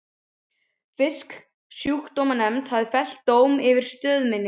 Fisksjúkdómanefnd hafði fellt dóm yfir stöð minni.